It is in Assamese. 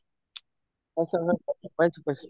অ, তেনেকুৱা পাইছো